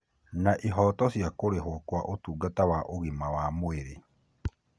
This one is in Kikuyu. na ihooto cia kũrĩhwo kwa ũtungata wa ũgima wa mwĩrĩ.